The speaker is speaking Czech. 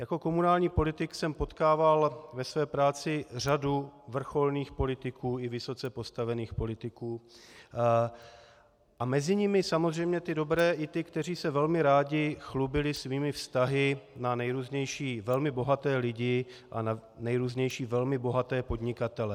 Jako komunální politik jsem potkával ve své práci řadu vrcholných politiků i vysoce postavených politiků a mezi nimi samozřejmě ty dobré i ty, kteří se velmi rádi chlubili svými vztahy na nejrůznější velmi bohaté lidí a na nejrůznější velmi bohaté podnikatele.